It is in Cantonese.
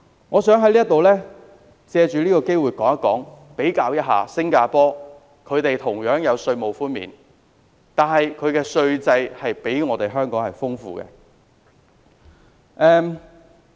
我想藉此機會指出，新加坡同樣有稅務寬免，但其稅制比香港更多樣化。